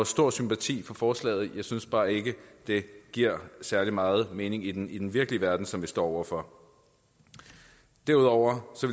stor sympati for forslaget men jeg synes bare ikke det giver særlig meget mening i den i den virkelige verden som vi står over for derudover